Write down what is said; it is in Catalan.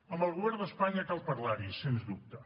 amb el govern d’espanya cal parlar hi sens dubte